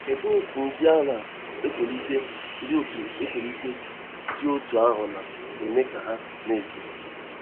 Kedụ etú ndị na - etolite dị otú etolite dị otú ahụ na - eme ka ha na - eto?